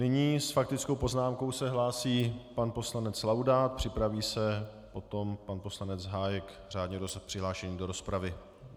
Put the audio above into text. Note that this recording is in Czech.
Nyní s faktickou poznámkou se hlásí pan poslanec Laudát, připraví se potom pan poslanec Hájek, řádně přihlášený do rozpravy.